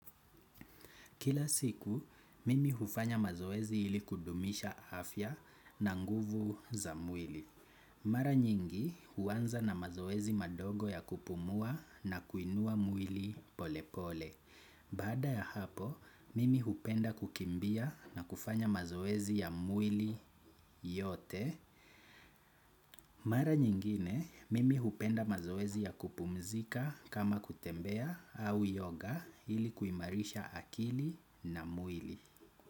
Kila siku, mimi hufanya mazoezi ili kudumisha afya na nguvu za mwili. Mara nyingi huanza na mazoezi madogo ya kupumua na kuinua mwili polepole. Baada ya hapo, mimi hupenda kukimbia na kufanya mazoezi ya mwili yote. Mara nyingine, mimi hupenda mazoezi ya kupumzika kama kutembea au yoga ili kuimarisha akili na mwili.